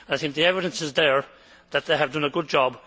I think the evidence is there that they have done a good job.